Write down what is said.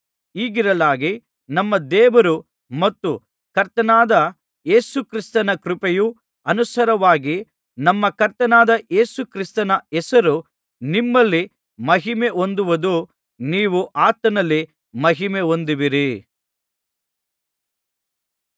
ಹೀಗಿರಲಾಗಿ ನಮ್ಮ ದೇವರು ಮತ್ತು ಕರ್ತನಾದ ಯೇಸು ಕ್ರಿಸ್ತನ ಕೃಪೆಗೆ ಅನುಸಾರವಾಗಿ ನಮ್ಮ ಕರ್ತನಾದ ಯೇಸುಕ್ರಿಸ್ತನ ಹೆಸರು ನಿಮ್ಮಲ್ಲಿ ಮಹಿಮೆ ಹೊಂದುವುದು ನೀವೂ ಆತನಲ್ಲಿ ಮಹಿಮೆ ಹೊಂದುವಿರಿ